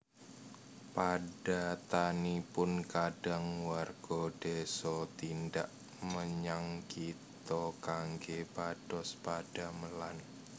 Padatanipun kadang warga désa tindak menyang kitha kanggé pados padamelan